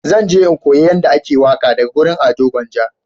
Zan je in koya yanda ake waƙa daga wurin Ado gwanja